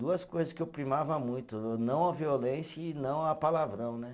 Duas coisas que eu primava muito, não a violência e não a palavrão, né?